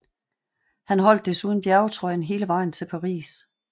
Han holdt desuden bjergtrøjen hele vejen til Paris